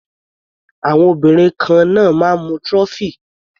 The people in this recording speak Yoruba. Àwọn obìnrin kan náà máa ń mu trophy.